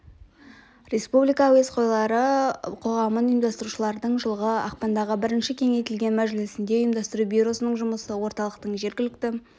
республика радиоәуесқойлары қоғамын ұйымдастырушылардың жылғы ақпандағы бірінші кеңейтілген мәжілісінде ұйымдастыру бюросының жұмысы орталықтың жергілікті